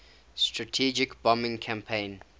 strategic bombing campaign